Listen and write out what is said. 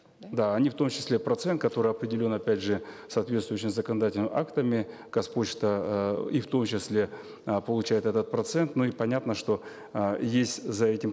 да они в том числе процент который определен опять же соответствующими законодательными актами казпочта эээ и в том числе э получает этот процент но и понятно что э есть за этим